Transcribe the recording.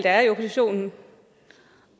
er i oppositionen